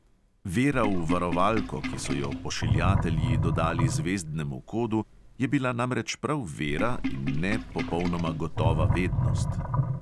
Vera v varovalko, ki so jo pošiljatelji dodali zvezdnemu kodu, je bila namreč prav vera, in ne popolnoma gotova vednost.